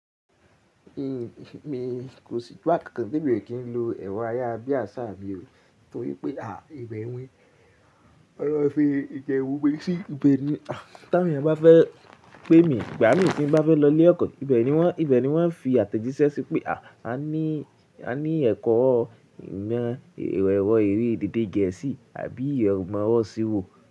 Kò sí gba kankàn tí emi i kì í lo èrọ ayárabíàṣá mí i ò, torí pé à, ìbẹ̀ ni, wọ́n máa ń fi ìbe n mo gbé sí ibẹ̀ ni. Tí àwọn ènìyàn bá fẹ́ pé mi, ìgbà mí ò tí ń bá fẹ́ lọ ilé ẹ̀kọ́, ìbẹ̀ ni wọ́n, ìbẹ̀ ni wọ́n fi àtẹ̀jíṣẹ́ sí pé à, a ní, a ní ẹ̀kọ́, ìmo èrọ ede geesí àbí ẹ̀rọ ìmọ̀ isírò.